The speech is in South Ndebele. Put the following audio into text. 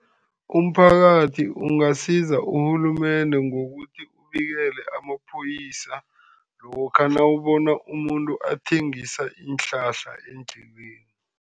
Umphakathi ungasiza urhulumende ngokuthi ubikele amapholisa lokha nawubona umuntu athengisa iinhlahla endleleni.